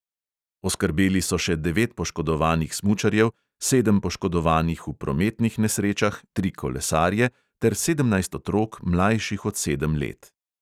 Oskrbeli so še devet poškodovanih smučarjev, sedem poškodovanih v prometnih nesrečah, tri kolesarje ter sedemnajst otrok, mlajših od sedem let.